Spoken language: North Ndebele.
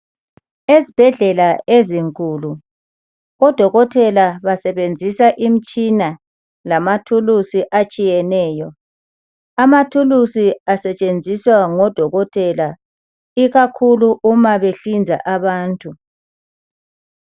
Ezibhedlela ezinkulu oDokotela basebenzisa imitshina lezikhali ezitshiyeneyo. Izikhali zisetshenziswa ngoDokotela ikakhulu nxa behlinza abantu.